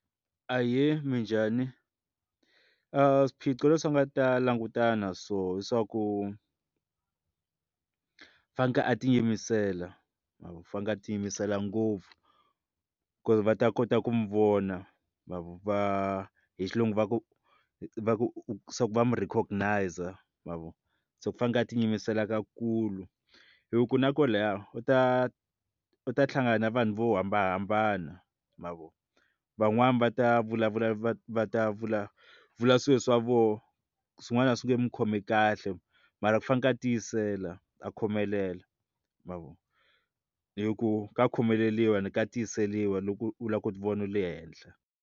Ahee, minjhani? swiphiqo leswi nga ta langutana so i swa ku faneke a tiyimisela ma vo fanele a tiyimisela ngopfu ku ri va ta kota ku n'wi ma vo va hi xilungu va ku va ku swa ku va n'wi recognizer ma vo se ku fanele a tiyimisela ka kulu hi ku na ku laha u ta u ta hlangana na vanhu vo hambanahambana ma vo van'wani va ta vulavula va vulavula swilo swa vona swin'wana a swi nge n'wi khomi kahle mara ku faneke a tiyisela a khomelela ma vo hi ku ka khomeleriwa and ka tiyiseriwa loko u lava ku ti vona le henhla.